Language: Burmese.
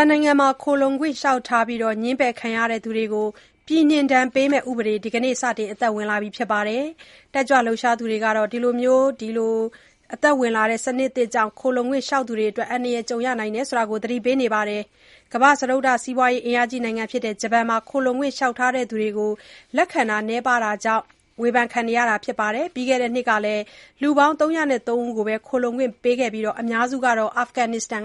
န်နိုင်ငံမှာ ခိုလှုံခွင့် လျှောက်ထားပြီးနောက် ငြင်းပယ်ခံရသူတွေကို ပြည်နှင်ဒဏ်ပေးမယ့် ဥပဒေ ဒီနေ့ကစတင် အသက် ဝင်လာပါပြီ။ တက်ကြွလှုပ်ရှားသူတွေကတော့ ဒီစနစ်သစ်ကြောင့် ခိုလှုံခွင့်လျှောက်သူတွေ အန္တရာယ် ကြုံရနိုင်တယ်လို့ သတိပေးနေပါတယ်။ ကမ္ဘာ့စတုတ္ထစီးပွားရေးအင်အာကြီးနိုင်ငံဖြစ်တဲ့ ဂျပန်နိုင်ငံဟာ ခိုလှုံခွင့် လျှောက်ထားသူတွကို လက်ခံတာ နည်းပါးတာကြောင့် ဝေဖန်ခံနေရတာပါ။ ပြီးခဲ့တဲ့နှစ်ကလည်း လူပေါင်း ၃၀၃ ဦးကိုသာ ခိုလှုံခွင့်ပေးခဲ့ပြီး အများစုကတော့ အာဖဂန်နစ္စတန်